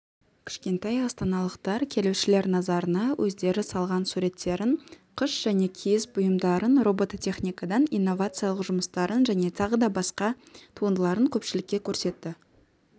кішкентай астаналықтар келушілер назарына өздері салған суреттерін қыш және киіз бұйымдарын робототехникадан инновациялық жұмыстарын және тағы да басқа туындыларын көпшілікке көрсетті